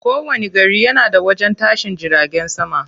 Kowani gari yana da wajen tashin jiragen sama.